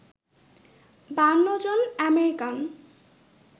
৫২ জন অ্যামেরিকান